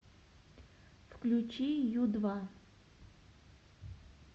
включи ю два